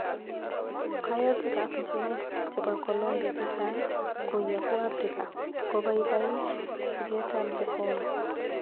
Kayotik ap Jehovah chepo Colombia chechang go yapu afrika kopapaich siket ap jehovah